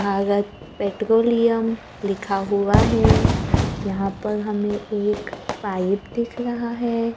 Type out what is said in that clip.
Bharat Petroleum लिखा हुआ है यहां पर हमें एक पाइप दिख रहा है।